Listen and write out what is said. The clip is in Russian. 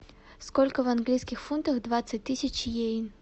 сколько в английских фунтах двадцать тысяч йен